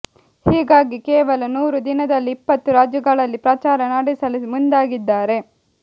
ಹೀಗಾಗಿ ಕೇವಲ ನೂರು ದಿನದಲ್ಲಿ ಇಪ್ಪತ್ತು ರಾಜ್ಯಗಳಲ್ಲಿ ಪ್ರಚಾರ ನಡೆಸಲು ಮುಂದಾಗಿದ್ದಾರೆ